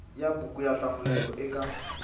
ya buku yo hlamulela eka